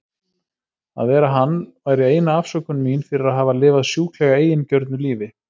Að vera hann væri eina afsökun mín fyrir að hafa lifað sjúklega eigingjörnu lífi.